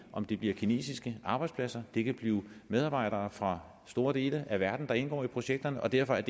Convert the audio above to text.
om det bliver kinesiske arbejdspladser det kan blive medarbejdere fra store dele af verden der indgår i projekterne og derfor